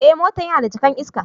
Eh, motan yana da jaka'n iska.